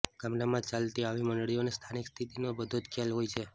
ગામડામાં ચાલતી આવી મંડળીઓને સ્થાનિક સ્થિતિનો બધો જ ખ્યાલ હોય છે